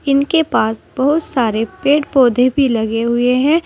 इनके पास बहुत सारे पेड़ पौधे भी लगे हुए हैं।